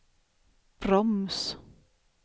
broms